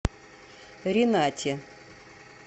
ренате